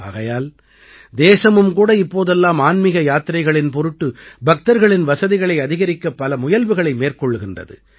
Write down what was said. ஆகையால் தேசமும் கூட இப்போதெல்லாம் ஆன்மீக யாத்திரைகளின் பொருட்டு பக்தர்களின் வசதிகளை அதிகரிக்க பல முயல்வுகளை மேற்கொள்கின்றது